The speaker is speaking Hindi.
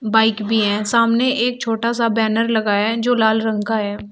बाइक भी है सामने एक छोटा सा बैनर लगाया है जो लाल रंग का है।